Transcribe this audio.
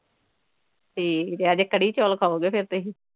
ਠੀਕ ਹੈ ਅੱਜ ਕੜੀ ਚੌਲ ਖਾਉਗੇ ਫਿਰ ਤੁਸੀਂ।